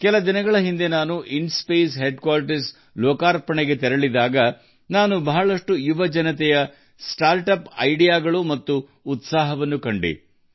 ಕೆಲವು ದಿನಗಳ ಹಿಂದೆ ನಾನು ಇನ್ಸ್ಪೇಸ್ನ ಪ್ರಧಾನ ಕಛೇರಿಯನ್ನು ಲೋಕಾರ್ಪಣೆ ಮಾಡಲು ಹೋದಾಗ ಅನೇಕ ಯುವ ಸ್ಟಾರ್ಟ್ಅಪ್ಗಳ ಆಲೋಚನೆಗಳು ಮತ್ತು ಉತ್ಸಾಹವನ್ನು ನೋಡಿದೆ